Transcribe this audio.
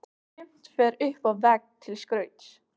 Sumt fer upp á vegg til skrauts.